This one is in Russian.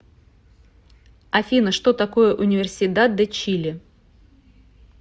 афина что такое универсидад де чили